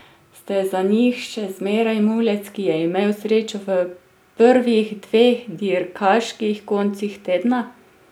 Ste za njih še zmeraj mulec, ki je imel srečo v prvih dveh dirkaških koncih tedna?